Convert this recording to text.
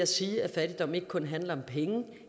siger at fattigdom ikke kun handler om penge